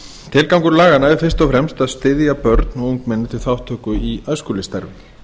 tilgangur laganna er fyrst og fremst að styðja börn og ungmenni til þátttöku í æskulýðsstarfi